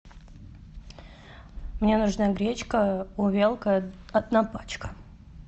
мне нужна гречка увелка одна пачка